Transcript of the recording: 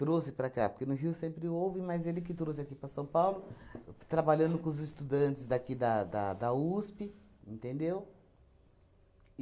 trouxe para cá, porque no Rio sempre houve, mas ele que trouxe aqui para São Paulo, trabalhando com os estudantes daqui da da da USP, entendeu?